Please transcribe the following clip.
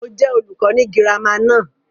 Mo jẹ olùkọ́ ni girama náà.